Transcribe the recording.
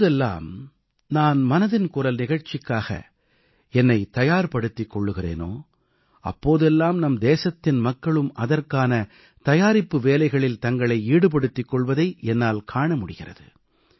எப்போதெல்லாம் நான் மனதின் குரல் நிகழ்ச்சிக்காக என்னைத் தயார் படுத்திக் கொள்கிறேனோ அப்போதெல்லாம் நம் தேசத்தின் மக்களும் அதற்கான தயாரிப்பு வேலைகளில் தங்களை ஈடுபடுத்திக் கொள்வதை என்னால் காண முடிகிறது